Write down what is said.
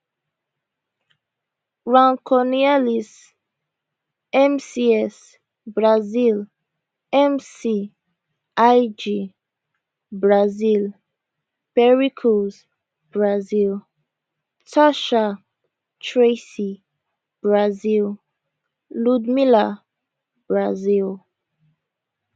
racionais mcs brazil mc ig brazil pericles brazil tasha tracie brazil ludmilla brazil